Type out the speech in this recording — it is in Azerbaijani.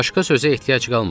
Başqa sözə ehtiyac qalmadı.